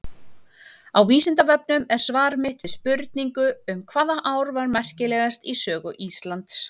Á Vísindavefnum er svar mitt við spurningu um hvaða ár var merkilegast í sögu Íslands.